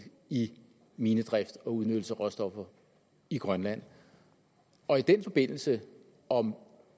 i minedrift og udnyttelse af råstoffer i grønland og i den forbindelse om